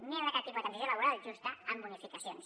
no hi haurà cap tipus de transició laboral justa amb bonificacions